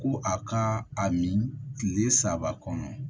Ko a ka a min tile saba kɔnɔ